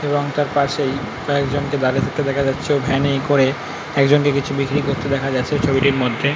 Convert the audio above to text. এবং তার পাশেই কয়েকজন কে দাঁড়িয়ে থাকতে দেখা যাচ্ছে। ভ্যান -এ করে একজনকে কিছু বিক্রি করতে দেখা যাচ্ছে ছবিটির মধ্যে ।